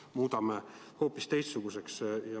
Kas me muudame selle hoopis teistsuguseks?